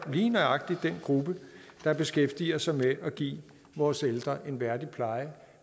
lige nøjagtig den gruppe der beskæftiger sig med at give vores ældre en værdig pleje